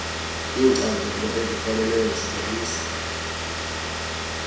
iinkcazelo ezikrwelelweyo zibonisa